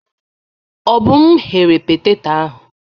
Obum ghere petetọ ahụ.